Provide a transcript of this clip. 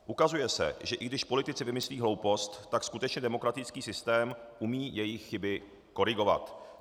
Ukazuje se, že i když politici vymyslí hloupost, tak skutečně demokratický systém umí jejich chyby korigovat.